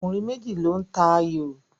Ọkùnrin méjì ló ń ta ayò